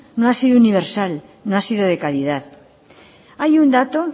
no ha sido universal no ha sido de calidad hay un dato